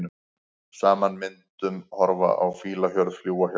Saman myndum horfa á fílahjörð, fljúga hjá.